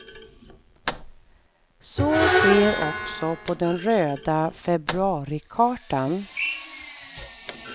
Så sker också på den röda februarikartan.